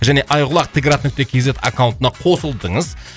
және айқұлақ т град нүкте кз аккаунтына қосылдыңыз